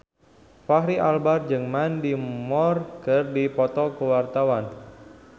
Fachri Albar jeung Mandy Moore keur dipoto ku wartawan